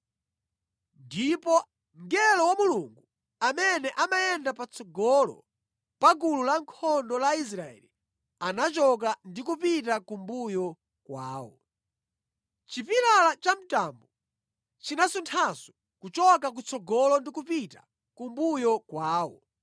Ndipo mngelo wa Mulungu amene amayenda patsogolo pa gulu lankhondo la Israeli anachoka ndi kupita kumbuyo kwawo. Chipilala cha mtambo chinasunthanso kuchoka kutsogolo ndi kupita kumbuyo kwawo.